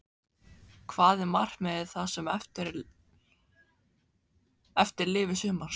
Hvað er markmiðið það sem eftir lifir sumars?